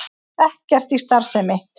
Ekkert í starfsemi